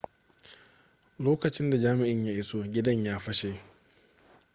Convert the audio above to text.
lokacin da jami'in ya iso gidan ya fashe